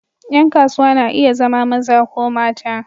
Ƴan kasuwa na iya zama maza ko mata.